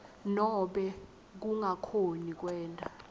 nobe kungakhoni kwenta